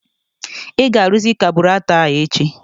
I ga-aruzị kaburatọ a echi?